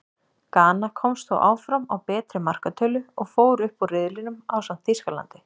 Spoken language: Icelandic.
Gana komst þó áfram á betri markatölu, og fór upp úr riðlinum ásamt Þýskalandi.